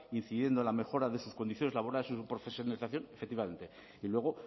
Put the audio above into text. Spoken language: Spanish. incidiendo en la mejora de sus condiciones laborales y su profesionalización efectivamente y luego